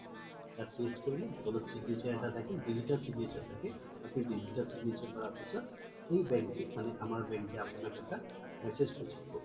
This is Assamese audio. তাত paste কৰিলো তলত signature এটা থাকিল digital signature এটা থাকে আপুনি digital signature কৰাৰ পিছ্ত সেই bank মানে আমাৰ bank কে আপুনাক এটা message পোথিয়াব